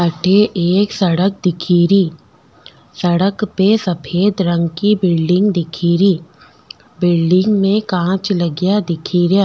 अठे एक सड़क दिखेरी सड़क पे सफ़ेद रंग की बिल्डिंग दिखेरी बिल्डिंग में कांच लग्या दिखे रिया।